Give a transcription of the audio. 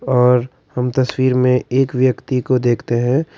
और हम तस्वीर में एक व्यक्ति को देखते हैं।